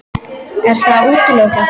Er það útilokað?